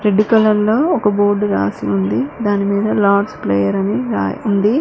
Colour లో ఒక board రాసి ఉంది దానిమీద లార్డ్స్ ప్లేయర్ అని రాయి ఉంది.